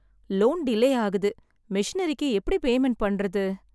Loan delay ஆகுது. மெஷினரிக்கு எப்படி பேமெண்ட் பண்றது?